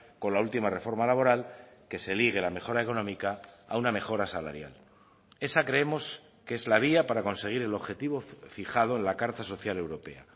con la última reforma laboral que se ligue la mejora económica a una mejora salarial esa creemos que es la vía para conseguir el objetivo fijado en la carta social europea